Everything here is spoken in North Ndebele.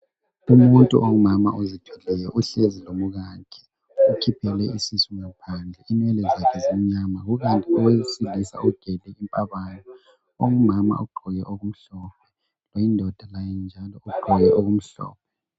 Umuntu ongumama ozithweleyo uhlezi lomkakhe ukhiphele isisu ngaphandle inwele zakhe zimnyama kukanti owesilisa ugele impabanga. Ongumama ugqoke okumhlophe oyindoda laye njalo ugqoke okumhlophe.